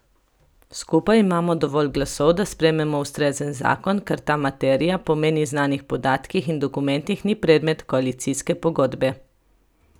Skupaj imamo dovolj glasov, da sprejmemo ustrezen zakon, ker ta materija, po meni znanih podatkih in dokumentih, ni predmet koalicijske pogodbe.